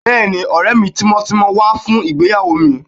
Bẹ́ẹ̀ni, ọ̀rẹ́ mi tímọ́tímọ́ wá fún ìgbéyàwó mi